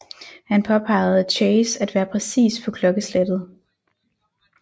Han påpegede Chase at være præcis på klokkeslettet